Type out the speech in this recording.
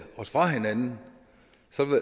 os fra hinanden så